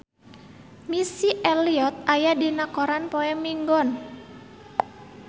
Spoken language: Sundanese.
Missy Elliott aya dina koran poe Minggon